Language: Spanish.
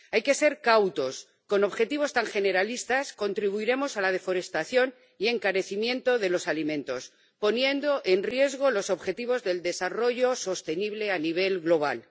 Hay que ser cautos con objetivos tan generalistas contribuiremos a la deforestación y al encarecimiento de los alimentos, poniendo en riesgo los objetivos del desarrollo sostenible a nivel global.